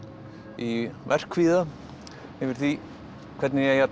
í verkkvíða yfir því hvernig ég eigi að